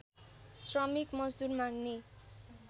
श्रमिक मजदूर माग्ने